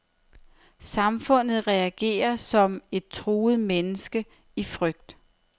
Samfundet reagerer som et truet menneske, i frygt.